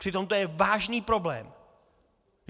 Přitom to je vážný problém.